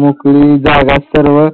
मोकळी जागा सर्व